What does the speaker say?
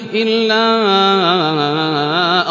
إِلَّا